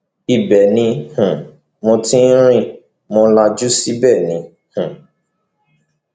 ibẹ ni um mo ti rìn mọ lajú síbẹ ni um